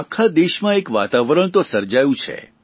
આખા દેશમાં એક વાતાવરણ તો સર્જાયું છે